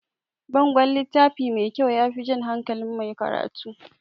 Bangon littafi mai kyau yafi jan hankalin mai karatu